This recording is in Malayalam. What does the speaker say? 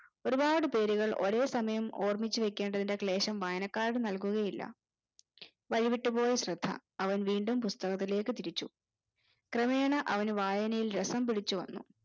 ഒരുപ്പാട് പേരുകൾ ഒരേ സമയം ഓർമ്മിച്ചുവെക്കേണ്ടേ ക്ലേശം വായനക്കാരന് നൽകുകയില്ല കൈവിട്ടു പോയ ശ്രദ്ധ അവൻ വീണ്ടും പുസ്തകത്തിലേക് തിരിച്ചു ക്രമേണ അവന് വായനയിൽ രസം പിടിച്ചുവന്നു